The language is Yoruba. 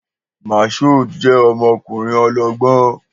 Mashood jẹ́ ọmọkùnrin ọlọ́gbọ́n